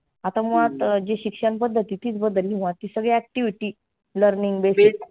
आता मुळात जी शिक्षण पद्धती तीच बदलली मग ती सगळी activity, learning बे